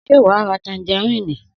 Sé wà á ra tanjarínì?